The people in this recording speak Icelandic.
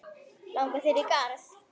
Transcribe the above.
Langar þig í garð?